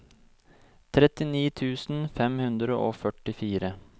trettini tusen fem hundre og førtifire